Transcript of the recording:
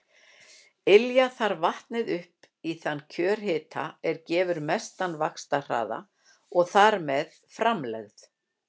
Ylja þarf vatnið upp í þann kjörhita er gefur mestan vaxtarhraða og þar með framlegð.